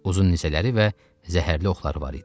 Uzun nizələri və zəhərli oxları var idi.